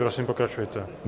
Prosím, pokračujte.